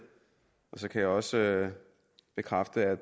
så kan jeg også bekræfte at